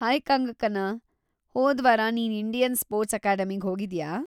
Hi Kangana, ಹೋದ್ವಾರ ನೀನ್‌ Indian sports ಅಕಾಡೆಮಿಗ್ ಹೋಗಿದ್ಯಾ?